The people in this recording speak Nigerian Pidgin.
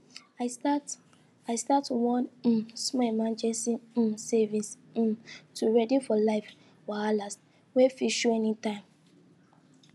i start i start one um small emergency um savings um to ready for life wahala wey fit show anytime